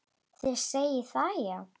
Þið segið það, já.